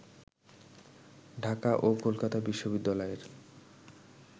ঢাকা ও কলকাতা বিশ্ববিদ্যালয়ের